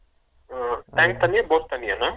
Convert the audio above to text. ஓ tank தண்ணியா bore தண்ணிய அண்ணா ?